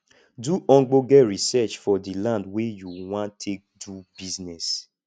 do ogbonge research for di land wey you wan take do business